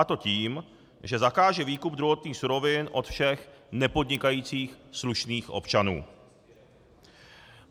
A to tím, že zakáže výkup druhotných surovin od všech nepodnikajících slušných občanů.